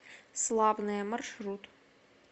славное маршрут